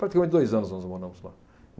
Praticamente dois anos nós moramos lá.